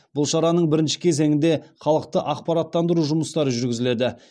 бұл шараның бірінші кезеңінде халықты ақпараттандыру жұмыстары жүргізіледі